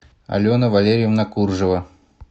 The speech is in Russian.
алена валерьевна куржева